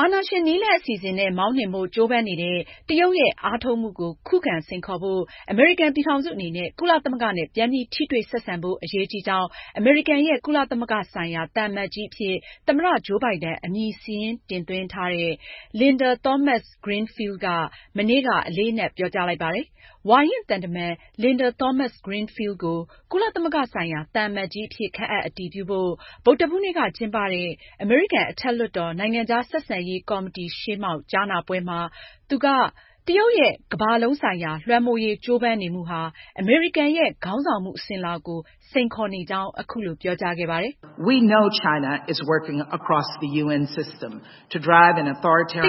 အာဏာရှင်နည်းလမ်းအစီအစဉ်နဲ့ မောင်းနှင်ဖို့ ကြိုးပမ်းနေတဲ့ တရုတ်ရဲ့ အားထုတ်မှုကို ခုခံစိန်ခေါ်ဖို့ အမေရိကန်ပြည်ထောင်စုအနေနဲ့ ကုလသမဂ္ဂနဲ့ ပြန်ပြီး ထိတွေ့ ဆက်ဆံဖို့ အရေးကြီးကြောင်း အမေရိကန်ရဲ့ ကုလသမဂ္ဂဆိုင်ရာ သံအမတ်ကြီးအဖြစ် သမ္မတ ဂျိုးဘိုင်ဒန် အမည်စာရင်းတင်သွင်းထားသူ Linda Thomas-Greenfield က မနေ့က အလေးအနက် ပြောကြားလိုက်ပါတယ်။ ဝါရင့်သံတမန် Linda Thomas-Greenfield ကို ကုလသမဂ္ဂဆိုင်ရာ သံအမတ်ကြီးအဖြစ် ခန့်အပ်အတည်ပြုဖို့ ဗုဒ္ဓဟူးနေ့က ကျင်းပတဲ့ အမေရိကန် အထက်လွှတ်တော် နိုင်ငံခြားဆက်ဆံရေးကော်မတီ ကြားနားပွဲမှာ သူက- တရုတ်ရဲ့ကမ္ဘာလုံးဆိုင်ရာ လွှမ်းမိုးရေးကြိုပမ်းနေမှုဟာ အမေရိကန်ရဲ့ ခေါင်းဆောင်မှု အစဉ်အလာကို စိန်ခေါ်နေကြောင်း အခုလို ပြောကြားခဲ့ပါတယ်။ "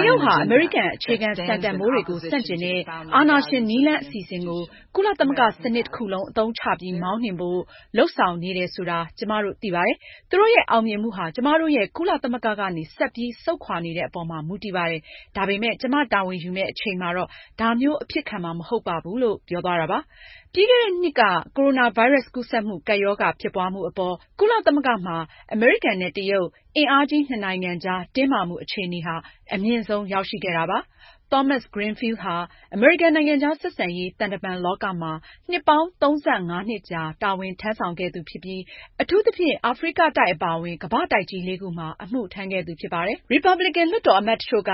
တရုတ်ဟာ အမေရိကန် အခြေခံ စံတန်ဖိုးတွေကို ဆန့်ကျင်တဲ့ အာဏာရှင်နည်းလမ်းအစီအစဉ်ကို ကုလသမဂ္ဂ စနစ်တခုလုံး အသုံးချပြီး မောင်းနှင်ဖို့ လုပ်ဆောင်နေတယ်ဆိုတာ ကျမတို့ သိပါတယ်။ သူတို့ရဲ့ အောင်မြင်မှုဟာ ကျမတို့ရဲ့ ကုလသမဂ္ဂကနေ ဆက်ပြီး ဆုတ်ခွာနေတဲ့အပေါ်မှာ မူတည်ပါတယ်။ ဒါပေမဲ့ ကျမတာဝန်ယူမယ့်အချိန်မှာတော့ ဒါမျိုး အဖြစ်ခံမှာ မဟုတ်ပါဘူး။” ပြီးခဲ့တဲ့နှစ်က ကိုရိုနာဗိုင်းရပ်စ် ကူးစက်မှု ကပ်ရောဂါဖြစ်ပွားမှုအပေါ် ကုလသမဂ္ဂမှာ အမေရိကန်နဲ့ တရုတ် အင်အားကြီးနှစ်နိုင်ငံကြားတင်းမာမှုအခြေအနေဟာ အမြင့်ဆုံး ရောက်ရှိခဲ့တာပါ။ Thomas-Greenfield ဟာ အမေရိကန် နိုင်ငံခြားဆက်ဆံရေး သံတမန်လောကမှာ နှစ်ပေါင်း ၃၅ နှစ်ကြာ တာဝန်ထမ်းဆောင်ခဲ့သူဖြစ်ပြီး အထူးသဖြင့် အာဖရိကတိုက်အပါအဝင် ကမ္ဘာ့တိုက်ကြီး လေးခုမှာ အမှုထမ်းခဲ့သူဖြစ်ပါတယ်။ ရီပါပလင်ကန်လွှတ်တော်အမတ်တချို့က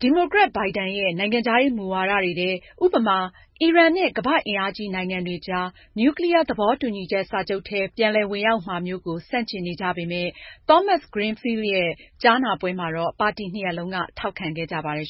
ဒီမိုကရက် ဘိုင်ဒန်ရဲ့ နိုင်ငံခြားရေးမူဝါဒတွေထဲ ဥပမာ- အီရန်နဲ့ ကမ္ဘာ့အင်အားကြီးနိုင်ငံတွေကြား နျူးကလီးယားသဘောတူညီချက်စာချုပ်ထဲ ပြန်လည်ဝင်ရောက်မှာမျိုး ကို ဆန့်ကျင်နေကြပေမယ့် Thomas-Greenfield ရဲ့ကြားနားပွဲမှာတော့ ပါတီနှစ်ရပ်လုံးက ထောက်ခံခဲ့ကြပါတယ်